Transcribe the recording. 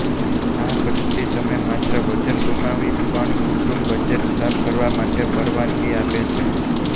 આ પદ્ધતિ તમે માત્ર વજન ગુમાવી પણ કુટુંબ બજેટ સાફ કરવા માટે પરવાનગી આપે છે